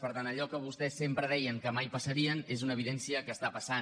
per tant allò que vostès sempre deien que mai passaria és una evidència que està passant